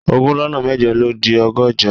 Ogún lọ́nà mẹ́jọ ló di ọgọ́jọ